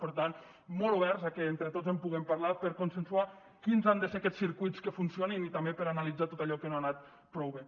per tant molt oberts a que entre tots en puguem parlar per consensuar quins han de ser aquests circuits que funcionin i també per analitzar tot allò que no ha anat prou bé